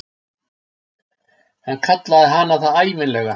Hann kallaði hana það ævinlega.